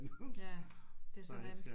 Ja det så nemt